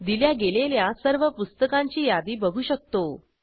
दिल्या गेलेल्या सर्व पुस्तकांची यादी बघू शकतो